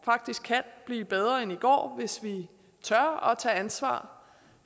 faktisk kan blive bedre end i går hvis vi tør tage ansvar